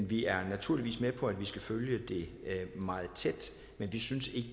vi er naturligvis med på at vi skal følge det meget tæt men vi synes ikke